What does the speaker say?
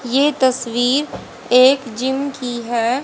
ये तस्वीर एक जिम की है।